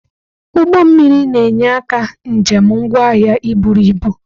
Ụgbọ mmiri na-enye aka njem ngwa ahịa iburu ibu.